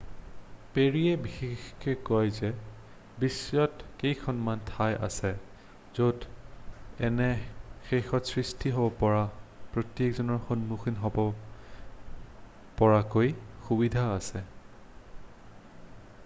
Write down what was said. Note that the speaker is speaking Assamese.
"পেৰীয়ে বিশেষকৈ কয় যে "বিশ্বত কেইখনমান ঠাই আছে য'ত এনে ক্ষেত্ৰত সৃষ্টি হ'ব পৰা প্ৰত্যাহ্বানৰ সন্মুখীন হ'ব পৰাকৈ সুবিধা আছে।""